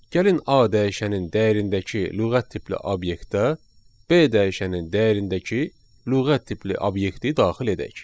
Gəlin A dəyişənin dəyərindəki lüğət tipli obyektə B dəyişənin dəyərindəki lüğət tipli obyekti daxil edək.